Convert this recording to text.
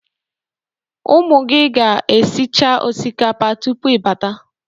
Ụmụ gị ga-esicha osikapa tupu ịbata.